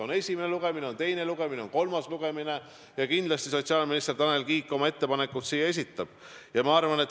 On esimene lugemine, on teine lugemine, on kolmas lugemine, ja kindlasti sotsiaalminister Tanel Kiik oma ettepanekud siia esitab.